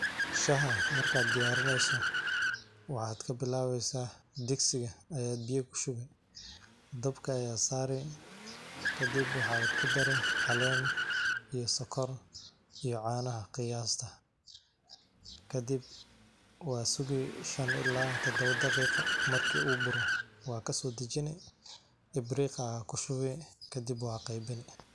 Shaxaa marka diyarineyso, waxad kabilabeysaa, digsiga aya biya kushibi dabka aya sarii, kadib waxaa kudaree caleen iyo sokor iyo canaxaa qiyastaa, kadib wasugii shan iyo tawan ila tadhawa daqiqo, marki u buroo wadh kasodhajinii, ibriq aya kushuwii kadib wadh qeybinii.